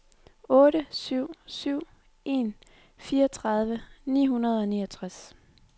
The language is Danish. otte syv syv en fireogtredive ni hundrede og niogtres